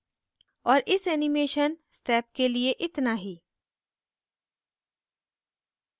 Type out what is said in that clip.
और इस animation step के लिए इतना ही